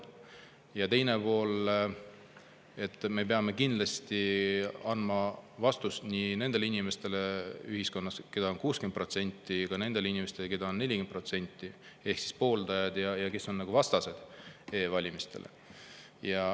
Ja teine pool: me peame kindlasti andma vastust nii nendele inimestele ühiskonnas, keda on 60%, kui ka nendele inimestele, keda on 40%, ehk siis e-valimiste pooldajatele ja vastastele.